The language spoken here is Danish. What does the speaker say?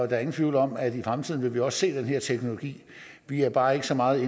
er ingen tvivl om at i fremtiden vil vi også se den her teknologi vi er bare ikke så meget